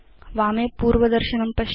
वामे पूर्वदर्शनं पश्यतु